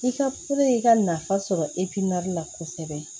I ka i ka nafa sɔrɔ la kosɛbɛ